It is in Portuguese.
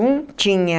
Um tinha...